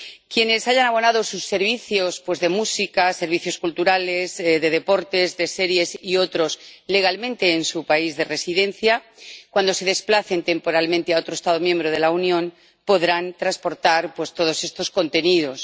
Quienes hayan abonado sus servicios de música, servicios culturales, de deportes, de series y otros legalmente en su país de residencia, cuando se desplacen temporalmente a otro Estado miembro de la Unión, podrán transportar todos estos contenidos.